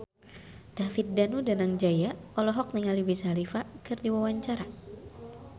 David Danu Danangjaya olohok ningali Wiz Khalifa keur diwawancara